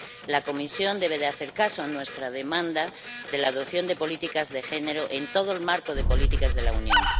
La Comisión debe hacer caso a nuestra demanda de adopción de políticas de género en todo el marco de las políticas de la Unión.